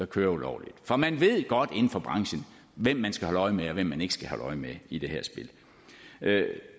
kører ulovligt for man ved godt inden for branchen hvem man skal holde øje med og hvem man ikke skal holde øje med i det her spil